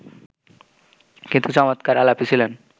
কিন্তু চমৎকার আলাপি ছিলেন